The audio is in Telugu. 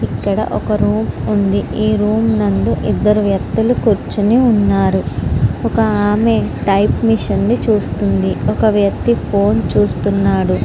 ఇక్కడ ఒక రూమ్ ఉంది. రూమ్ నుండి ఇద్దరు వ్యక్తులు కూర్చుని ఉన్నారు. ఒక ఆమె టైప్ మిషన్ ని చూస్తూ ఉంది. ఒక వ్యక్తి ఫోన్ చూస్తున్నాడు.